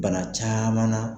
Bana caman na